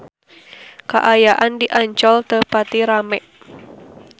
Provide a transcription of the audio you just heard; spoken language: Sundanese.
Kaayaan di Ancol teu pati rame